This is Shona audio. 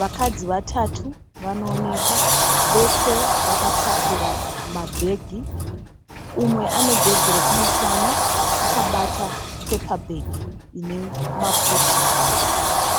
Vakadzi vatatu vanoonekwa vese vakatakura mabhegi. Umwe ane bhegi rekumusana, akabata pepabheki ine maputi.